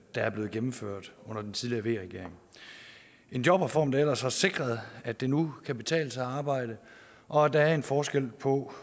er blevet gennemført under den tidligere v regering en jobreform der ellers har sikret at det nu kan betale sig at arbejde og at der er forskel på